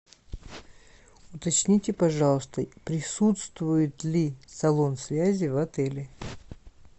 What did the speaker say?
уточните пожалуйста присутствует ли салон связи в отеле